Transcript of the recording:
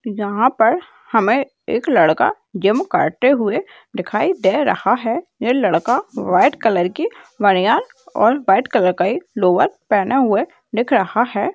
यहाँ पर हमे एक लड़का जिम करते हुए दिखाई दे रहा है ये लड़का व्हाइट कलर की बनियान और व्हाइट कलर का ही लोवर पहने हुए दिख रहा है।